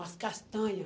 As castanha.